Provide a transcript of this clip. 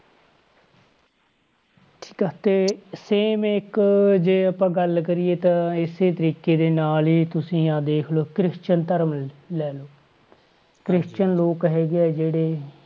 ਠੀਕ ਆ ਤੇ same ਇੱਕ ਜੇ ਆਪਾਂ ਗੱਲ ਕਰੀਏ ਤਾਂ ਇਸੇ ਤਰੀਕੇ ਦੇ ਨਾਲ ਹੀ ਤੁਸੀਂ ਆਹ ਦੇਖ ਲਓ ਕ੍ਰਿਸਚਨ ਧਰਮ ਲੈ ਲਓ ਕ੍ਰਿਸਚਨ ਲੋਕ ਹੈਗੇ ਆ ਜਿਹੜੇ